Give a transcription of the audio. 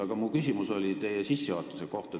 Aga minu küsimus on teie sissejuhatuse kohta.